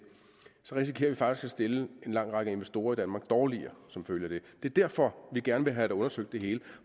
risikerer vi faktisk at stille en lang række investorer i danmark dårligere det er derfor vi gerne vil have undersøgt det hele